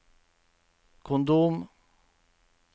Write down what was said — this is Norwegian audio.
kondom